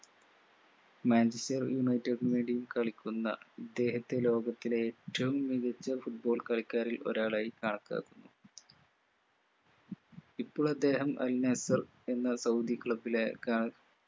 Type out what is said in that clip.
manchester united ന് വേണ്ടിയും കളിക്കുന്ന ഇദ്ദേഹത്തെ ലോകത്തിലെ ഏറ്റവും മികച്ച foot ball കളിക്കാരിൽ ഒരാളായി കണക്കാക്കുന്നു ഇപ്പോൾ അദ്ദേഹം al nassr എന്ന സൗദി club ലെ